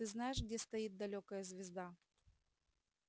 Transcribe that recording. ты знаешь где стоит далёкая звезда